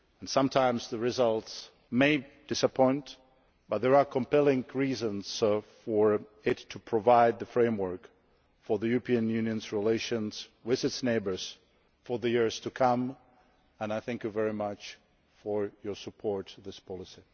Sometimes the results may disappoint, but there are compelling reasons for it to provide the framework for the European Union's relations with its neighbours for the years to come, and I thank you very much for your support for this policy.